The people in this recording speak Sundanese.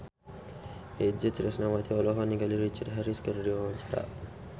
Itje Tresnawati olohok ningali Richard Harris keur diwawancara